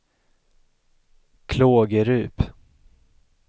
Klågerup